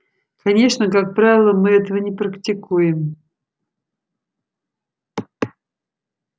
конечно как правило мы этого не практикуем